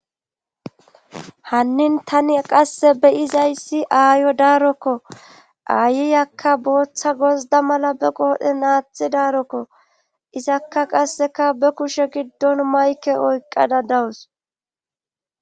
hannin tani qasse be izayssi aayo daarokko aayiyakka booththa gozda mala be qoodhe naathi daarokko izakka qasseka be kushe giddon mayke oyqqada dawus